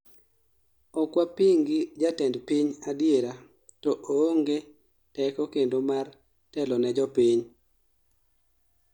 okwapingi jatend piny adiera to oonge teko kendo mar telo ne jopiny*****